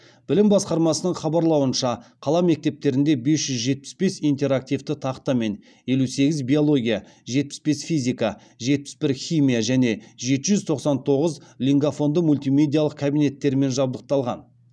білім басқармасының хабарлауынша қала мектептерінде бес жүз жетпіс бес интерактивті тақта мен елу сегіз биология жетпіс бес физика жетпіс бір химия және жеті жүз тоқсан тоғыз лингафонды мультимедиялық кабинеттерімен жабдықталған